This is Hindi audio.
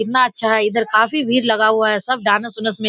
कितना अच्छा है इधर काफी भीड़ लागा हुआ है सब डांस उनस मे --